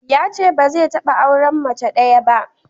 Yace ba zai taɓa auren mace ɗaya ba.